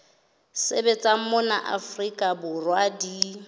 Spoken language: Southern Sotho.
sebetsang mona afrika borwa di